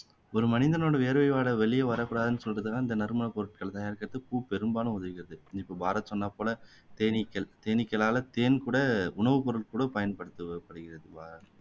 ஒரு மனிதனோட வேர்வை வாடை வெளிய வரக்கூடாதுன்னு சொல்றதுக்காக இந்த நறுமண பொருட்கள் பூ பெரும்பாலும் உதவியது இப்போ பாரத் சொன்னாப்போல தேனீக்கள் தேனீக்களால தேன் கூட உணவு பொருள் கூட பயன்படுத்தப்படுகிறது